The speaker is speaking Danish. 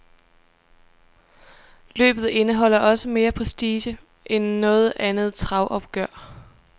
Løbet indeholder også mere prestige end noget andet travopgør.